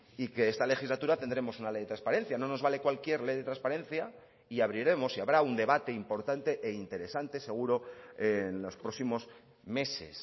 y que esta legislatura tendremos una ley de transparencia no nos vale cualquier ley de transparencia y abriremos y habrá un debate importante e interesante seguro en los próximos meses